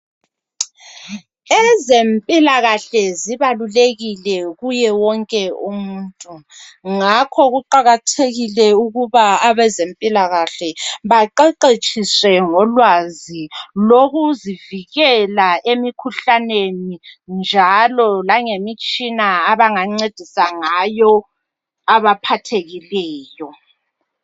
Ezempilakahle zibalulekile kuye wonke umuntu. Ngakho kuqakathekile ukuba abezempilakahle, baqeqetshiswe ngolwazi lokuzivikela emikhuhlaneni. Njalo lngemitshina abangancedisa ngayo, abaphathekileyo.